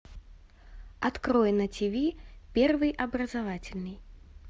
открой на тиви первый образовательный